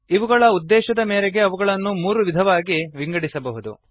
ಅವುಗಳ ಉದ್ದೇಶದ ಮೇರೆಗೆ ಅವುಗಳನ್ನು ಮೂರು ವಿಧವಾಗಿ ವಿಂಗಡಿಸಬಹುದು